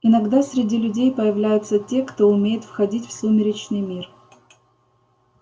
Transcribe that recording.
иногда среди людей появляются те кто умеет входить в сумеречный мир